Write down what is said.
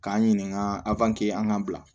K'an ɲininka a an ka bila